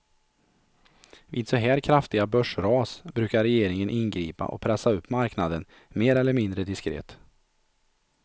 Vid så här kraftiga börsras brukar regeringen ingripa och pressa upp marknaden, mer eller mindre diskret.